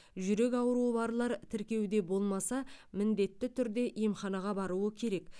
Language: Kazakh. жүрек ауруы барлар тіркеуде болмаса міндетті түрде емханаға баруы керек